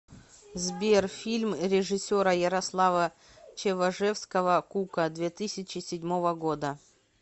сбер фильм режиссера ярослава чеважевского кука две тысячи седьмого года